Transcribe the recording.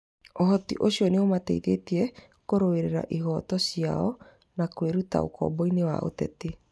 Ũhoti ũcio nĩumateithĩtie kũrũĩrĩra ihoto ciao na kwĩruta ũkomboinĩ wa ateti.